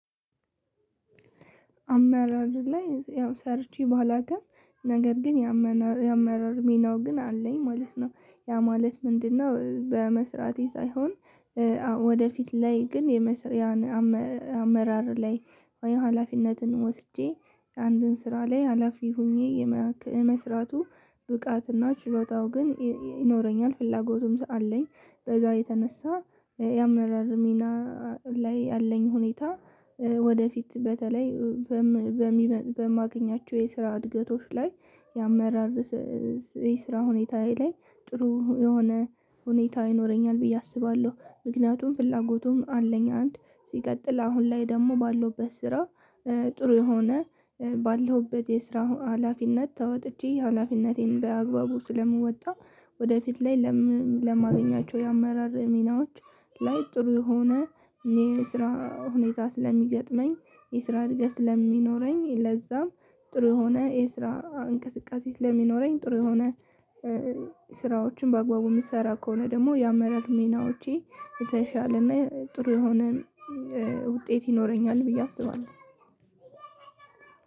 አመራር ላይ ያው ሰርቼ ባላቅም ነገር ግን ያመና ያመራር ሚናው ግን አለኝ ማለት ነው ያ ማለት ምንድነው በመስራቴ ሳይሆን። ወደፊት ላይ ግን የመሰሪያን አመ አመራር ላይ ወይ ሀላፊነትን ወስጄ አንድን ስራ ላይ ሀላፊ ሆኜ የማክ የመስራቱ ብቃት እና ችሎታው ግን ይ ይኖረኛል ፍላጎቱም አለኝ በዛ የተነሳ የአመራር ሚና ላይ ያለኝ ሁኔታ ወደፊት በተለይ በም በሚመ በማገኛቸው የስራ እድገቶች ላይ የአመራር በስስ የስራ ሁኔታ ላይ ጥሩ የሆነ ሁኔታ ይኖረኛል ብዬ አስባለሁ። ምክንያቱም ፍላጎቱም አለኝ አንድ ሲቀጥል አሁን ላይ ደግሞ ባለሁበት ስራ። ጥሩ የሆነ ባለሁበት የስራው ሀላፊነት ተወጥቼ ሀላፊነቴን በአግባቡ ስለምወጣ ወደፊት ላይ ለም ለማገኛቸው የአመራር ሚናዎች ላይ ጥሩ የሆነ የስራ ሁኔታ ስለሚገጥመኝ የስራ እድገት ስለሚኖረኝ ለዛ ጥሩ የሆነ የስራ እንቅስቃሴ ስለሚኖረኝ ጥሩ የሆነ ስራዎችን በአግባቡ ምሰራ ከሆነ ደግሞ የአመራር ሚናዎቼ የተሻለ እና ጥሩ የሆነ ውጤት ይኖረኛል ብዬ አስባለሁ።